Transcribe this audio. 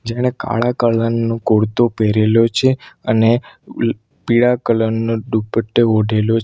એણે કાળા કલર નું કુરતો પહેરેલું છે અને લ પીળા કલર નો દુપટ્ટો ઓઢેલો છ--